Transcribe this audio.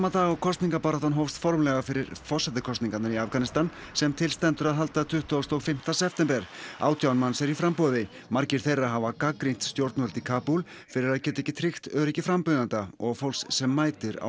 dag og kosningabaráttan hófst formlega fyrir forsetakosningarnar sem til stendur að halda tuttugasta og fimmta september átján manns eru í framboði margir þeirra hafa gagnrýnt stjórnvöld í Kabúl fyrir að geta ekki tryggt öryggi frambjóðenda og fólks sem mætir á